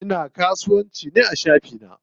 Ina kasuwanci ne a shafi na.